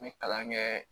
N bɛ kalan kɛɛ